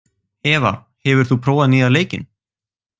Eva, hefur þú prófað nýja leikinn?